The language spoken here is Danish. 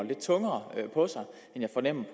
man